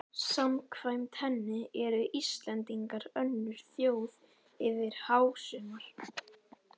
Samkvæmt henni eru Íslendingar önnur þjóð yfir hásumar